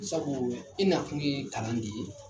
Sabu i na kun ye kalan de ye .